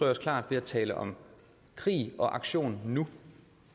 os klart ved at tale om krig og aktion nu